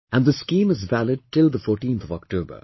And this scheme is valid till the 14th of October